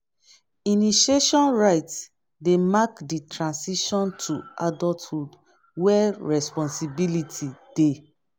initiation rites dey mark di transition to adulthood where responsibility dey.